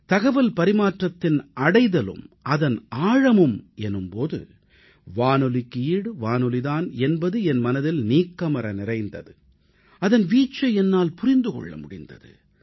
தகவல் பரிமாற்றத்தின் இலக்கும் அதன் ஆழமும் எனும்போது வானொலிக்கு ஈடு வானொலி தான் என்பது என் மனதில் நீக்கமற நிறைந்தது அதன் வீச்சை என்னால் புரிந்து கொள்ள முடிந்தது